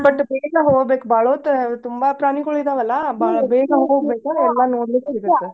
But ಬೆಳ್ಳಿಗೆ ಹೋಬೇಕ್ ಬಾಳೋತ್ ತುಂಬಾ ಪ್ರಾಣಿಗೋಳ ಇದವಲ್ಲಾ ಬೇ~ ಬೇಗ ಹೋಗ್ಬೇಕು ಎಲ್ಲಾ ನೋಡ್ಲಿಕೆ ಸಿಗುತ್ತೆ.